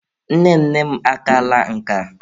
Nne nne m akaala nka.